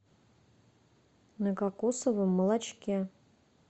на кокосовом молочке